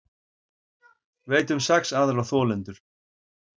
Veit um sex aðra þolendur